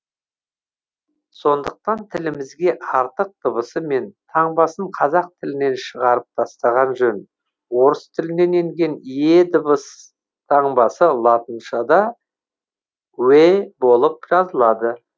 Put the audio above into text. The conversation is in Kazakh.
сондықтан тілімізге артық дыбысы мен таңбасын қазақ тілінен шығарып тастаған жөн орыс тілінен енген е дыбыс таңбасы латыншада уе болып жазылады